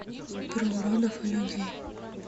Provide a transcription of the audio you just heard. про уродов и людей